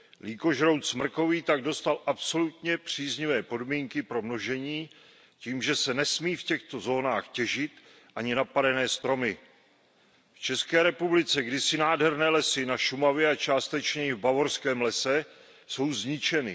Lýkožrout smrkový tak dostal absolutně příznivé podmínky pro množení tím, že se nesmí v těchto zónách těžit ani napadané stromy. V České republice kdysi nádherné lesy na Šumavě a částečně i v Bavorském lese jsou zničeny.